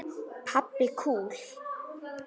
Pabbi kúl!